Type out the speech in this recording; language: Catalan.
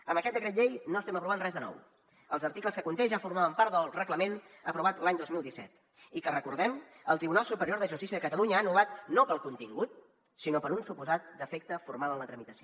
amb aquest decret llei no estem aprovant res de nou els articles que conté ja formaven part del reglament aprovat l’any dos mil disset i que recordem el tribunal superior de justícia de catalunya ha anul·lat no pel contingut sinó per un suposat defecte formal en la tramitació